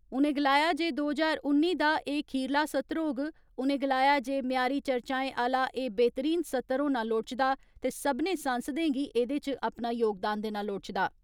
उ'नें गलाया जे दो ज्हार उन्नी दा एह् खीरला सत्र होग, उ'नें गलाया जे म्यारी चर्चाएं आह्ला एह् बेह्तरीन सत्र होना लोड़चदा ते सभनें सांसदें गी एह्दे इच अपना योगदान देना लोड़चदा।